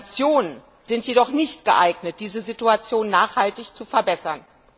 Sanktionen sind jedoch nicht geeignet, diese Situation nachhaltig zu verbessern.